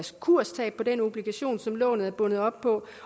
kurstab på den obligation som lånet er bundet op på